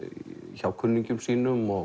hjá kunningjum sínum og